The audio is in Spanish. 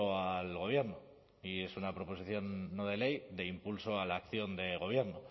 al gobierno y es una proposición no de ley de impulso a la acción del gobierno